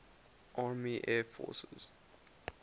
army air forces